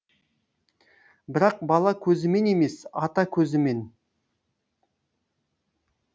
бірақ бала көзімен емес ата көзімен